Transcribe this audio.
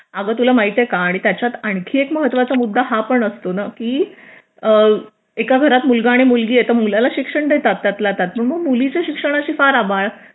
अग तुला माहिती आहे का आणि त्याच्यात आणखीन एक महत्त्वाचा मुद्दा हा पण असतो ना की एका घरात मुलगा आणि मुलगी आहे तर मुलाला शिक्षण देतात त्यातल्या त्यात आणि मग मुलीच्या शिक्षणाची फार आबाळ